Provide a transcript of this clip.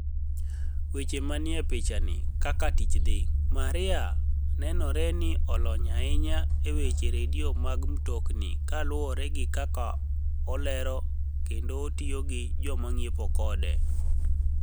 Weche maniie pichanii, kaka tich dhi, Maria ni enore nii oloniy ahiniya e weche redio mag mtoknii kaluwore gi kaka olero kenido tiyo gi joma nig'iepo kode.